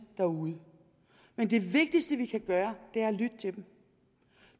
derude men det vigtigste vi kan gøre er at lytte til dem